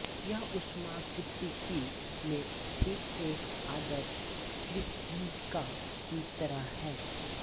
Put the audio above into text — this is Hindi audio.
यह ऊष्मागतिकी में ठीक एक आदर्श कृष्णिका की तरह है